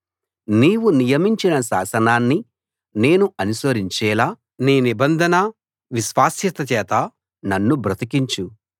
నీవు నియమించిన శాసనాన్ని నేను అనుసరించేలా నీ నిబంధన విశ్వాస్యత చేత నన్ను బ్రతికించు